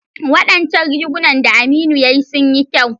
Wadancan rigunan da Aminu ya yi sun yi kyau.